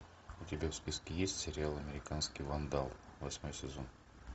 у тебя в списке есть сериал американский вандал восьмой сезон